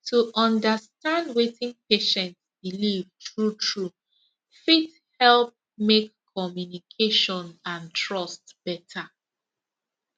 to understand wetin patient believe truetrue fit help make communication and trust better